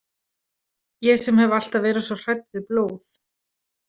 Ég sem hef alltaf verið svo hrædd við blóð.